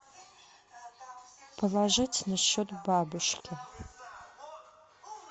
положить на счет бабушки